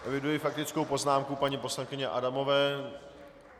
Eviduji faktickou poznámku paní poslankyně Adamové.